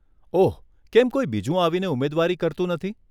ઓહ, કેમ કોઈ બીજું આવીને ઉમેદવારી કરતું નથી?